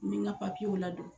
N bi n ka ladon